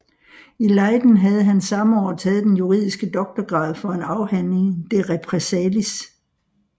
I Leiden havde han samme år taget den juridiske doktorgrad for en afhandling de repressaliis